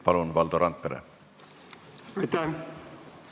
Palun, Valdo Randpere!